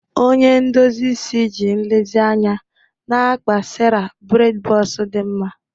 Onye ndozi isi ji nlezianya na-akpa Sara bredi bọks dị mma.